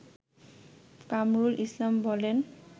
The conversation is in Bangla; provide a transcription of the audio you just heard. কামরুল ইসলাম বলেন